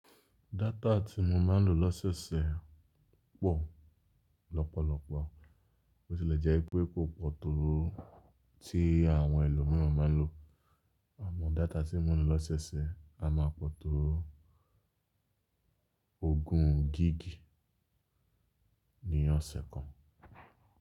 Data tí mo máa ń lò lọ́ sẹ̀ ọsẹ̀ pọ̀ lọ́pọ̀lọpọ̀. Bótílẹ̀ jẹ́ pé kò pọ̀ tó tí àwọn ẹlòmíràn máa ń lò. Àmọ́ data tí mo n lò lọ́ sẹ̀ ọ sẹ̀ a máa pọ̀ tó ogún gigí ní ọ̀sẹ̀ kan.